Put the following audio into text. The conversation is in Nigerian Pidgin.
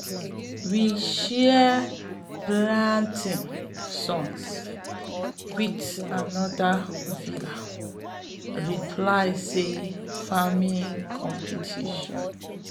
we shared planting songs wit anoda vila reply say farming competition.